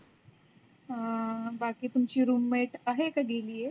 अह बाकी तुमची room mate आहे का घेली हे?